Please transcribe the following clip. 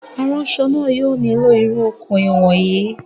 Aránsọ náà yóò nílò irú okùn ìwọ̀n yìí